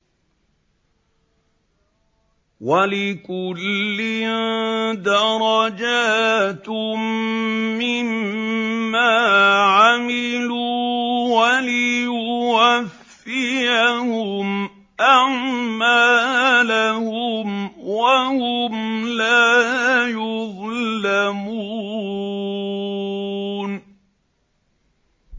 وَلِكُلٍّ دَرَجَاتٌ مِّمَّا عَمِلُوا ۖ وَلِيُوَفِّيَهُمْ أَعْمَالَهُمْ وَهُمْ لَا يُظْلَمُونَ